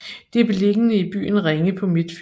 Det er beliggende i byen Ringe på Midtfyn